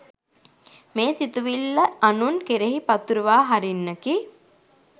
මේ සිතුවිල්ල අනුන් කෙරෙහි පතුරුවා හරින්නකි.